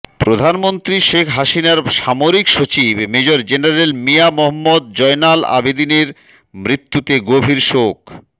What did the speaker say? প্রধানমন্ত্রী শেখ হাসিনার সামরিক সচিব মেজর জেনারেল মিয়া মোহাম্মদ জয়নাল আবেদিনের মৃত্যুতে গভীর শোক